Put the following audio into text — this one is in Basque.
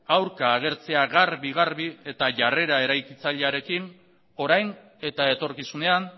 aurka agertzea garbi garbi eta jarrera eraikitzailearekin orain eta etorkizunean